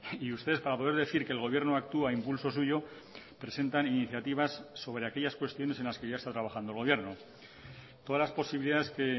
y ustedes para poder decir que el gobierno actúa a impulso suyo presentan iniciativas sobre aquellas cuestiones en las que ya está trabajando el gobierno todas las posibilidades que